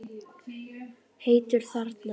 Heitur þarna.